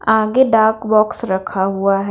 आगे डाक बॉक्स रखा हुआ हैं।